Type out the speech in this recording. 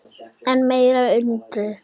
Enn meiri undrun